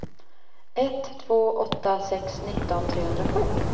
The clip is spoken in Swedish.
ett två åtta sex nitton trehundrasju